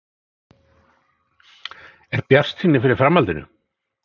Er bjartsýni fyrir framhaldinu í Breiðholtinu?